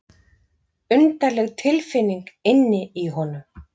Undarleg tilfinning inni í honum.